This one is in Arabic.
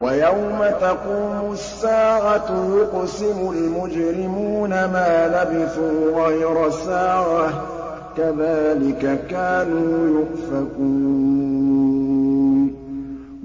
وَيَوْمَ تَقُومُ السَّاعَةُ يُقْسِمُ الْمُجْرِمُونَ مَا لَبِثُوا غَيْرَ سَاعَةٍ ۚ كَذَٰلِكَ كَانُوا يُؤْفَكُونَ